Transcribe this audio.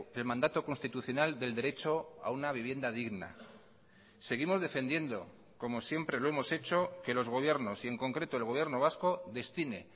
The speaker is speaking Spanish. el mandato constitucional del derecho a una vivienda digna seguimos defendiendo como siempre lo hemos hecho que los gobiernos y en concreto el gobierno vasco destine